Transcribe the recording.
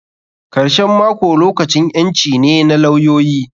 Karshen mako lokacin ƴanci ne na lawyoyi.